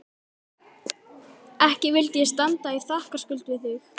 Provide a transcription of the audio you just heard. Ekki vildi ég standa í þakkarskuld við þig